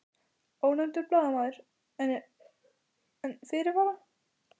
Ónefndur blaðamaður: En, en fyrirvara?